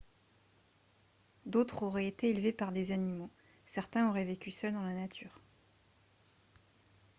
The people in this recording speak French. d’autres auraient été élevés par des animaux ; certains auraient vécu seuls dans la nature